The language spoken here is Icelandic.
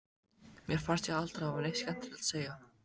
Mér fannst ég aldrei hafa neitt skemmtilegt að segja.